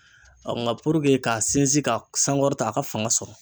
nka k'a sinsin ka sankɔrɔta a ka fanga sɔrɔ.